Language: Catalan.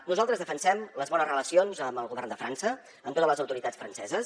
nosaltres defensem les bones relacions amb el govern de frança amb totes les autoritats franceses